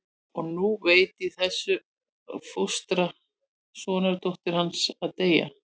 Og nú rétt í þessu var fóstra sonardóttur hans að deyja.